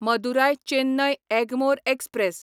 Madurai Chennai Egmore express